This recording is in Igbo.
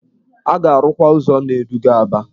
A ga-arụkwa ụzọ na-eduga Aba.